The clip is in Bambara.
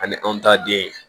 Ani anw ta den